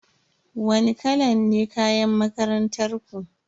Wani kala ne kayan makarantar ku?